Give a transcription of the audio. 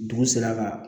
Dugu sera ka